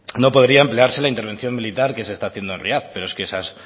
no podía emplearse en la intervención militar que se está haciendo en pero es que esas